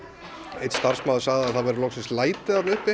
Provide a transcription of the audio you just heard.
einn starfsmaður sagði að það væru loksins læti þarna uppi